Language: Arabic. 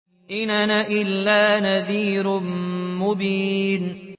إِنْ أَنَا إِلَّا نَذِيرٌ مُّبِينٌ